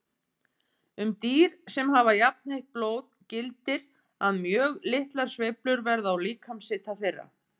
Um dýr sem hafa jafnheitt blóð gildir að mjög litlar sveiflur verða á líkamshita þeirra.